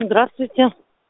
здравствуйте